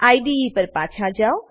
IDE પર પાછા જાવ